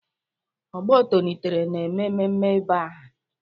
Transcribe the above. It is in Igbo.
Ọgbọ tonitere na-eme mmemme ịba aha.